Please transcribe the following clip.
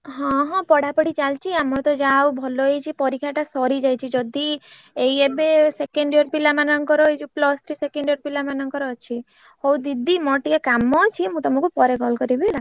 ହଁ ହଁ ପଢାପଢି ଚାଲିଛି ଆମର ତ ଯାହା ହଉ ଭଲ ହେଇଛି ପରୀକ୍ଷା ଟା ସରିଯାଇଛି ଯଦି ଏଇ ଏବେ second year ପିଲାମାନଙ୍କର ଏଇ ଯୋଉ plus three second year ପିଲାମାନଙ୍କର ଅଛି ହଉ ଦିଦି ମୋର ଟିକେ କାମ ଅଛି ମୁ ତମକୁ ପରେ call କରିବି ହେଲା।